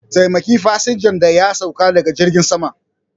Taimaki fasinjan da ya sauka daga jirgin sama